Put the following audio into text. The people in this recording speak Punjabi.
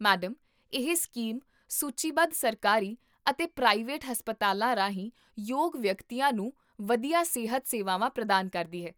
ਮੈਡਮ, ਇਹ ਸਕੀਮ ਸੂਚੀਬੱਧ ਸਰਕਾਰੀ ਅਤੇ ਪ੍ਰਾਈਵੇਟ ਹਸਪਤਾਲਾਂ ਰਾਹੀਂ ਯੋਗ ਵਿਅਕਤੀਆਂ ਨੂੰ ਵਧੀਆ ਸਿਹਤ ਸੇਵਾਵਾਂ ਪ੍ਰਦਾਨ ਕਰਦੀ ਹੈ